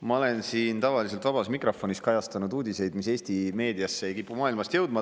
Ma olen siin tavaliselt vabas mikrofonis kajastanud uudiseid, mis mujalt maailmast Eesti meediasse ei kipu jõudma.